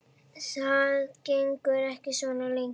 Það gengur ekki svona lengi.